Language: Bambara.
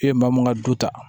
E ye maa mun ŋa du ta